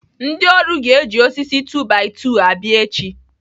Ndị ọrụ ga-eji osisi 2-by-2 abịa echi.